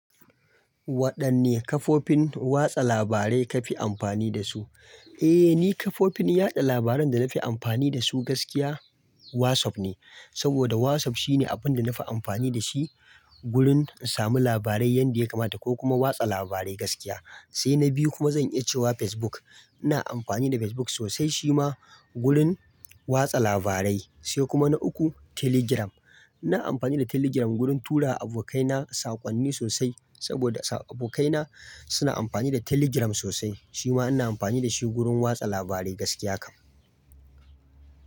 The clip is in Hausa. Waɗanne kafofin watsa labarai ka fi amfani da su? Eh, ni kafofin yaɗa labaran da na fi amfani da su gaskiya WhatsApp ne. Saboda WhatsApp shine abin da na fi amfani da shi gurun in samu labarai yadda ya kamata ko kuma watsa labarai gaskiya. Sai na biyu kuma zan iya cewa Facebook. Ina amfani da Facebook sosai shima gurun watsa labarai. Sai kuma na uku Telegram. Ina amfani da Telegram gurun tura abokaina sakonni sosai. Saboda abokaina suna amfani da Telegram sosai shima ina amfani da shi gurun watsa labarai gaskiya kam.